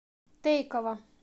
тейково